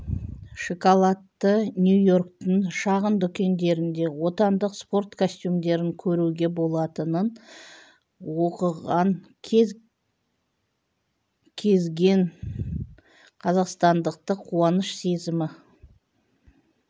шоколадты нью-йорктің шағын дүкендерінде отандық спорт костюмдерін көруге болатынын оқыған кез кезген қазақстандықты қуаныш сезімі